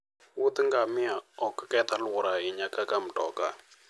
wuodh Ngamia ok keth alwora ahinya kaka mtoka.